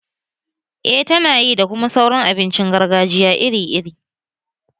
Eh tana yi, da kuma sauran abincin gargajiya iri iri